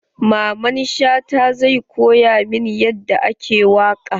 Mamman Shata zai ko ya min yadda ake waƙa.